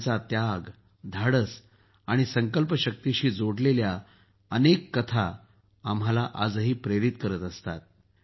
त्यांचा त्याग धाडस आणि संकल्पशक्तीशी जोडलेली अनेक कथा आजही आम्हाला प्रेरित करत असतात